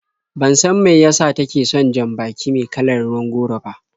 Ban san mai yasa take son jan-baki me kalar ruwan goro ba.